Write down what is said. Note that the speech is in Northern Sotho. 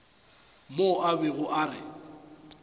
mo a bego a re